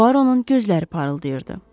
Puaronun gözləri parıldayırdı.